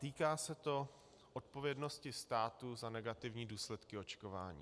Týká se to odpovědnosti státu za negativní důsledky očkování.